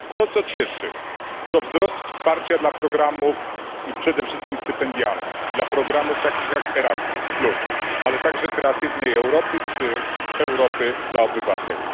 To, co cieszy, to wzrost wsparcia dla programów przede wszystkim stypendialnych, dla programów takich jak Erasmus ale także dla programu Kreatywna Europa czy Europa dla obywateli